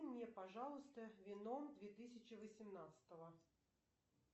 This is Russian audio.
мне пожалуйста веном две тысячи восемнадцатого